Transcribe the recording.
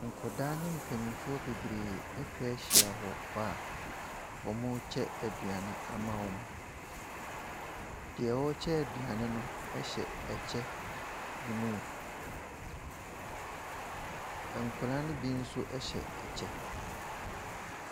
Nkwadaa ne mpanimfoɔ bebree atw ahyia hall hɔ a warekyɛ aduane ama wɔn. Deɛ ɔrekyɛ aduane no hyɛ ɛkyɛ blue. Nkwdaa no bo nso hyɛ ɛkyɛ.